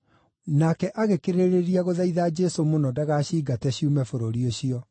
Nake agĩkĩrĩrĩria gũthaitha Jesũ mũno ndagacingate ciume bũrũri ũcio.